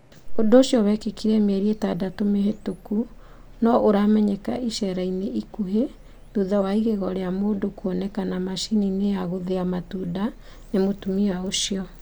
ũndũ ũcio wekĩkire mĩeri itandatũ mĩhĩtũku, no rĩramenyeka icera-inĩ ikuhĩ thutha wa igego rĩa mũndũ kuonekana macini-inĩ ya gũthia matunda ni mũtmia ucio